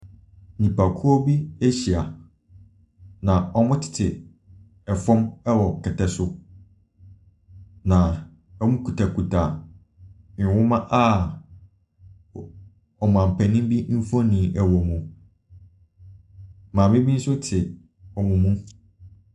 Nipakuo bi ahyia, na wɔtete fam wɔ kɛtɛ so na wɔkutakuta nwoma a o Ɔmampanin bi mfonin wɔ mu. Maame bi nso te wɔn mu.